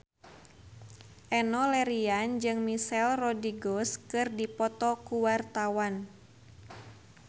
Enno Lerian jeung Michelle Rodriguez keur dipoto ku wartawan